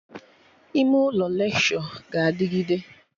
Ime ụlọ lekshọ ga-adịgide